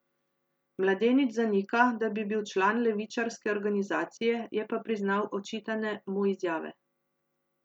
Mladenič zanika, da bi bil član levičarske organizacije, je pa priznal očitane mu izjave.